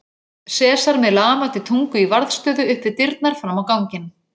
Sesar með lafandi tungu í varðstöðu upp við dyrnar fram á ganginn.